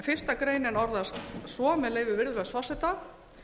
fyrsta greinin orðast svo með leyfi virðulegs forseta